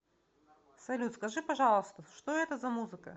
салют скажи пожалуйста что это за музыка